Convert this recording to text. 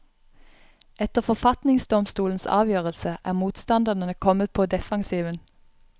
Etter forfatningsdomstolens avgjørelse er motstanderne kommet på defensiven.